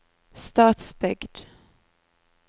Stadsbygd